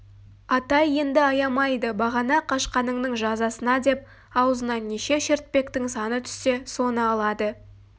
атай енді аямайды бағана қашқаныңның жазасына деп аузына неше шертпектің саны түссе соны алады